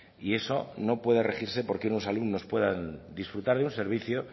y eso no puede regirse porque unos alumnos puedan disfrutar de un servicio